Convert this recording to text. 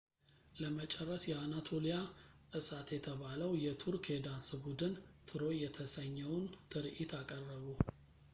ለመጨረስ የአናቶሊያ እሳት የተባለው የቱርክ የዳንስ ቡድን ትሮይ የተሰኘውን ትርኢት አቀረቡ